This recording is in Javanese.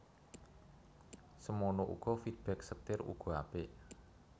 Semono uga feedback setir uga apik